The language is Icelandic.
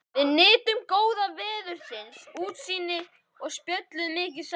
Við nutum góða veðursins, útsýnisins og spjölluðum mikið saman.